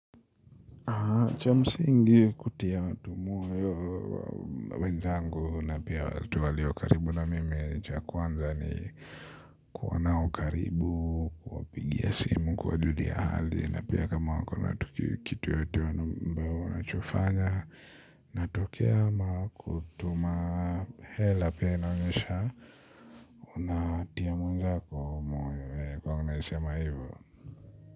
Cha msingi kutia watu moyo wenzangu na pia watu waliokaribu na mimi cha kwanza ni kuwa nao karibu, kuwapigia simu, kuwajulia hali na pia kama wakona kitu yoyote ambao wanachofanya natokea kutuma hela pia inaonyesha unatia mwenzako moyo yaani kuwa unaisema hivyo.